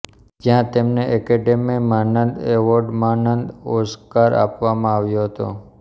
જ્યાં તેમને એકેડેમી માનદ એવોર્ડમાનદ ઓસ્કાર આપવામાં આવ્યો હતો